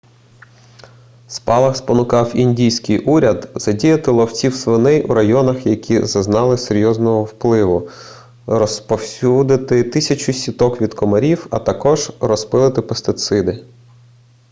спалах спонукав індійський уряд задіяти ловців свиней у районах які зазнали серйозного впливу розповсюдити тисячі сіток від комарів а також розпилити пестициди